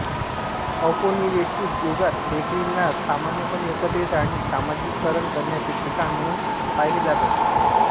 औपनिवेशिक युगात बेकरींना सामान्यपणे एकत्रित आणि समाजीकरण करण्याचे ठिकाण म्हणून पाहिले जात असे